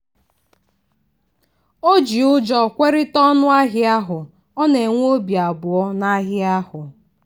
o ji ụjọ kwerịta ọnụ ahịa ahụ ọ na-enwe obị abụọ n'ahịa ahụ.